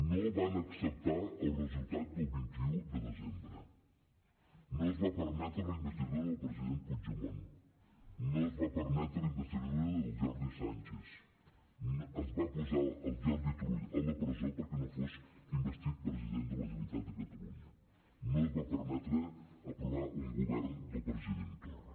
no van acceptar el resultat del vint un de desembre no es va permetre la investidura del president puigdemont no es va permetre la investidura del jordi sànchez es va posar el jordi turull a la presó perquè no fos investit president de la generalitat de catalunya no es va permetre aprovar un govern del president torra